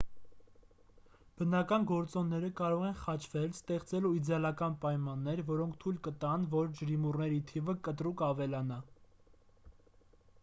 բնական գործոնները կարող են խաչվել ստեղծելու իդեալական պայմաններ որոնք թույլ կտան որ ջրիմուռների թիվը կտրուկ ավելանա